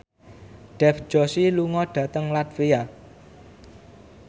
Dev Joshi lunga dhateng latvia